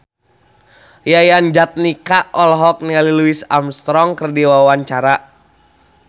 Yayan Jatnika olohok ningali Louis Armstrong keur diwawancara